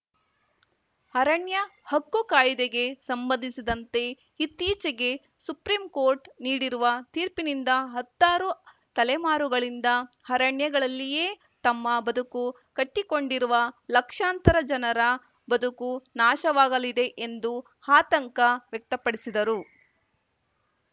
ಅರಣ್ಯ ಹಕ್ಕು ಕಾಯ್ದೆಗೆ ಸಂಬಂಧಿಸಿದಂತೆ ಇತ್ತೀಚೆಗೆ ಸುಪ್ರಿಂ ಕೋರ್ಟ್‌ ನೀಡಿರುವ ತೀರ್ಪಿನಿಂದ ಹತ್ತಾರು ತಲೆಮಾರುಗಳಿಂದ ಅರಣ್ಯಗಳಲ್ಲಿಯೇ ತಮ್ಮ ಬದುಕು ಕಟ್ಟಿಕೊಂಡಿರುವ ಲಕ್ಷಾಂತರ ಜನರ ಬದುಕು ನಾಶವಾಗಲಿದೆ ಎಂದು ಆತಂಕ ವ್ಯಕ್ತಪಡಿಸಿದರು